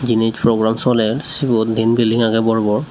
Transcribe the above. jenit program soler swot den bilding aagey bor bor.